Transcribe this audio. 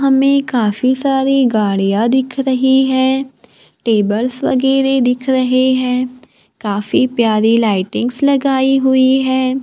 हमे काफी सारी गाड़ियां दिख रहीं हैं टेबल्स वगैरह दिख रहे हैं काफी प्यारी लाइटिंग्स लगाई हुई हैं।